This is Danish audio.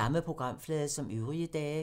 Samme programflade som øvrige dage